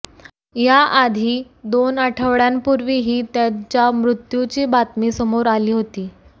याआधी दोन आठवड्यांपूर्वीही त्याच्या मृत्यूची बातमी समोर आली होती